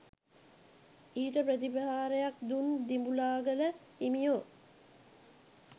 ඊට ප්‍රතිප්‍රහාරයක් දුන් දිඹුලාගල හිමියෝ